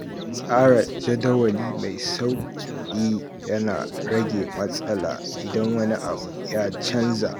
Tsara jadawali mai sauƙi yana rage matsala idan wani abu ya canza.